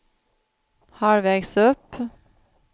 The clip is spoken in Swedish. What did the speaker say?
halvvägs upp